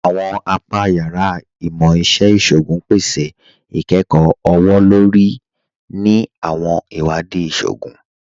Àwọn apà yàrá Imọ̀-iṣẹ̀ Ìṣògún pẹ̀sẹ̀ ikẹ́kọ ọwọ̀-lórí ni àwọn iwadii ìṣògún